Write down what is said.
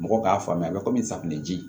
Mɔgɔw k'a faamuya a bɛ komi safunɛ ji